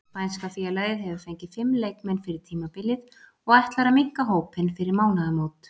Spænska félagið hefur fengið fimm leikmenn fyrir tímabilið og ætlar að minnka hópinn fyrir mánaðarmót.